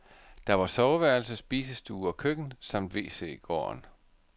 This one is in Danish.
Der var soveværelse, spisestue og køkken samt wc i gården.